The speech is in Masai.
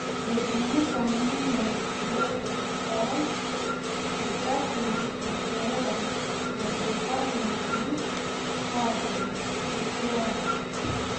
Eibung'ita ninye ilo opisai sitaki e keeya neidipaki ninye atujut te siai